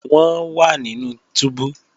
Wọ́n wà nínú túbú